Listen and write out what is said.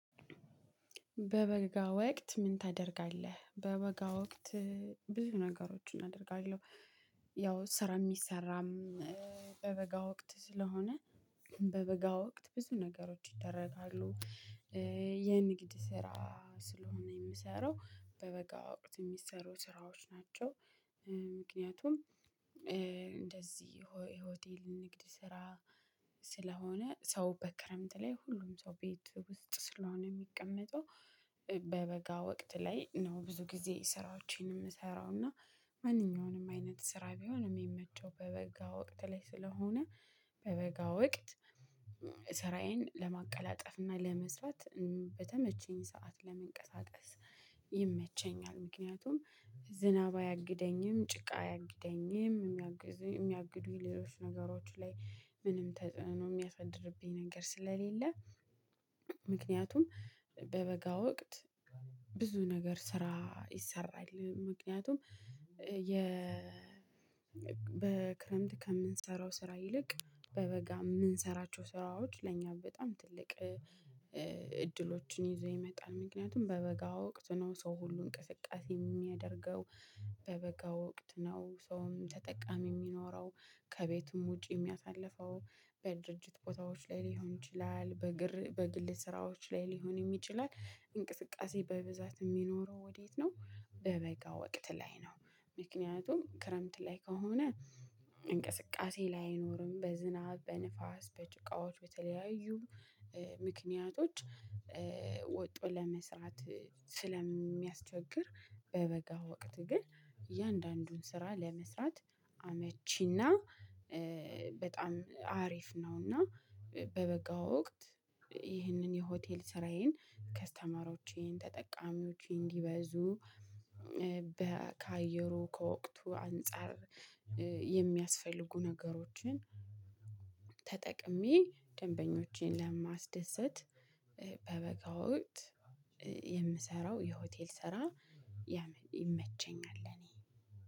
በበጋ ወቅት ምን ታደርጋለህ? በበጋ ወቅት ብዙ ነገሮችን አደርጋለሁ። ያው ስራ የሚሰራም በበጋ ወቅት ስለሆነ በበጋ ወቅት ብዙ ነገሮች ይደረጋሉ። የንግድ ስራ ስለሆነ የምሰራው በበጋ ወቅት የሚሰሩ ስራዎች ናቸው። ምክንያቱም እንደዚህ ሆቴል ንግድ ስራ ስለሆነ ሰው በክረምት ላይ ሁሉም ሰው ቤት ውስጥ ስለሆነ የሚቀመጠው በበጋ ወቅት ላይ ነው ብዙ ጊዜ ስራዎቼን የምሰራው። እና ማንኛውንም አይነት ስራ ቢሆንም የሚመቸው በበጋ ወቅት ላይ ስለሆነ በበጋ ወቅት ስራዬን ለማቀላጠፍ እና ለመስራት በተመቸኝ ሰዓት ለመንቀሳቀስ ይመቸኛል። ምክንያቱም ዝናብ አያግደኝም፣ ጭቃ አያግደኝም። የሚያግዱ ሌሎች ነገሮች ላይ ምንም ተጽዕኖ የሚያፈድርብኝ ነገር ስለሌለ ምክንያቱም በበጋ ወቅት ብዙ ነገር ስራ ይሰራል። ምክንያቱም በክረምት ከምንሰራው ስራ ይልቅ በበጋ የምንሰራቸው ስራዎች ለኛ በጣም ትልቅ እድሎችን ይዘው ይመጣል። ምክንያቱም በበጋ ወቅት ነው ሰው ሁሉ እንቅስቃሴ የሚያደርገው። በበጋ ወቅት ነው ሰውም ተጠቃሚ የሚኖረው፣ ከቤቱም ውጪ የሚያሳልፈው፣ በድርጅት ቦታዎች ላይ ሊሆን ይችላል፣ በግር በግል ስራዎች ላይ ሊሆንም ችላል እንቅስቃሴ በብዛት የሚኖረው ወዴት ነው? በበጋ ወቅት ላይ ነው። ምክንያቱም ክረምት ላይ ከሆነ እንቅስቃሴ ላይ አይኖርም። በዝናብ፣ በንፋስ በጭቃዎች በተለያዩ ምክንያቶች ወጦ ለመስራት ስለሚያስቸግር በበጋ ወቅት ግን እያንዳንዱን ስራ ለመስራት አመቺና በጣም አሪፍ ነው። እና በበጋ ወቅት ይህንን የሆቴል ስራዬን ከስተመሮቼን ተጠቃሚዎቼ እንዲበዙ ከአየሩ ከወቅቱ አንፃር የሚያስፈልጉ ነገሮችን ተጠቅሜ ደንበኞቼን ለማስደሰት በበጋ ወቅት የምሰራው የሆቴል ስራ ያው ይመቸኛል።